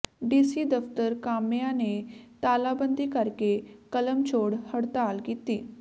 DC ਦਫਤਰ ਕਾਮਿਆਂ ਨੇ ਤਾਲਾਬੰਦੀ ਕਰਕੇ ਕਲਮਛੋੜ ਹੜਤਾਲ ਕੀਤੀ